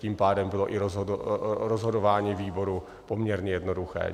Tím pádem bylo i rozhodování výboru poměrně jednoduché.